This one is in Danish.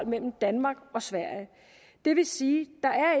mellem danmark og sverige det vil sige